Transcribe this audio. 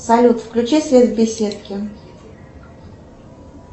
салют включи свет в беседке